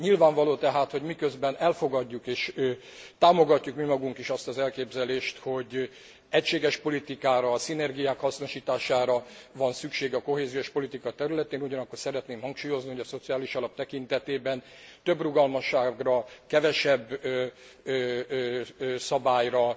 Nyilvánvaló tehát, hogy miközben elfogadjuk és támogatjuk mi magunk is azt az elképzelést, hogy egységes politikára, a szinergiák hasznosítására van szükség a kohéziós politika területén, ugyanakkor szeretném hangsúlyozni, hogy a Szociális Alap tekintetében több rugalmasságra, kevesebb szabályra,